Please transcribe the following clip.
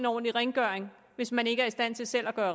ordentligt rent hvis man ikke er i stand til selv at